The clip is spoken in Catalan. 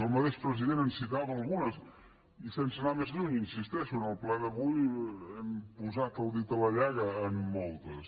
el mateix president en citava algunes i sense anar més lluny hi insisteixo en el ple d’avui hem posat el dit a la llaga en moltes